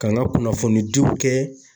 Ka n ka kunnafoni diw u kɛ.